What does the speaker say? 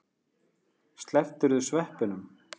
Slepptirðu sveppunum?